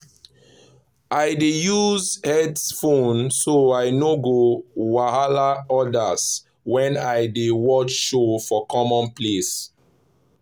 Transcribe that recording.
i dey use headphone so i no go wahala others when i dey watch show for common place.